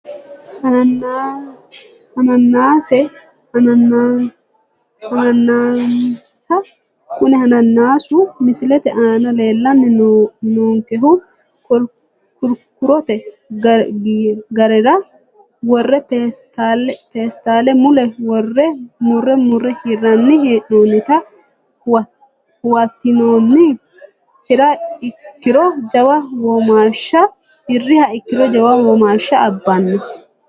Hanaanisa kuni hanaanisu misilete aana leelani noonkehu kurkurote gaarera wore peestale mule wore mure mure hirani heenonita huwatinooni hiriha ikiro jawa womaasha abano.